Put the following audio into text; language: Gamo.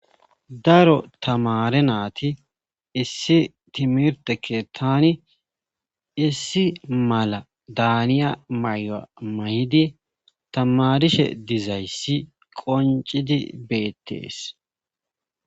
daro tamare naati issi timirtekke tani issi mala daaniya maya mayidi tamarishe dizayssi qoncidi beettees